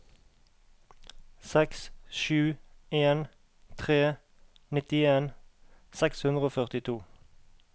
seks sju en tre nittien seks hundre og førtito